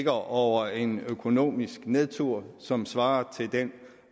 over en økonomisk nedtur som svarer til den